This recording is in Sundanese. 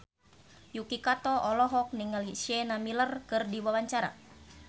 Yuki Kato olohok ningali Sienna Miller keur diwawancara